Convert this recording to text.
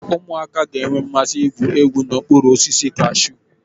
Ụmụaka ga-enwe mmasị igwu egwu n'okpuru osisi kashụ.